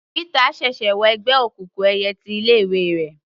Pítà ṣẹ̀ṣẹ̀ wọ ẹgbẹ́ òkùnkùn ẹyẹ ti ilé ìwé rẹ̀.